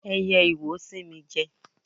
Ẹyẹ iwo sín mi jẹ.